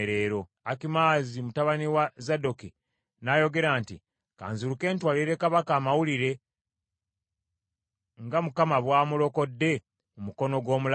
Akimaazi mutabani wa Zadooki n’ayogera nti, “Ka nziruke, ntwalire kabaka amawulire nga Mukama bw’amulokodde mu mukono gw’omulabe we.”